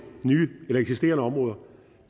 eksisterende områder